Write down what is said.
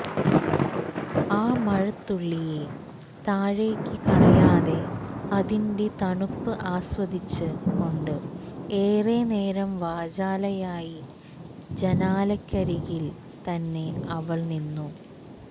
ആ മഴത്തുള്ളിയെ താഴേക്ക് കളയാതെ അതിന്റെ തണുപ്പ് ആസ്വദിച്ച് കൊണ്ട് ഏറെ നേരം വാചാലയായി ജനാലക്കരികിൽത്തന്നെ അവൾ നിന്നു